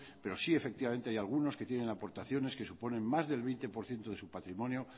pero sí hay efectivamente hay algunos que tienen aportaciones que suponen más del veinte por ciento de su patrimonio